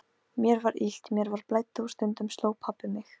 Mér var illt, mér blæddi og stundum sló pabbi mig.